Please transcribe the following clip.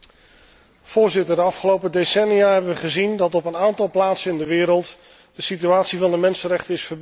Voorzitter, de afgelopen decennia hebben wij gezien dat op een aantal plaatsen in de wereld de situatie van de mensenrechten is verbeterd.